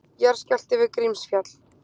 Jarðskjálfti við Grímsfjall